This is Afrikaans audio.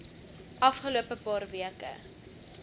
afgelope paar weke